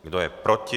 Kdo je proti?